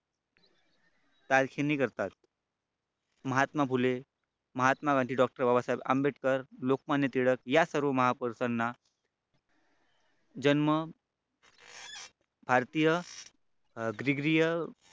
Mahatma Phule Mahatma Gandhi doctor Babasaheb Ambedkar Lokmanya Tilak या सर्व महापुरुषांना जन्म भारतीय ग्रिग्रिय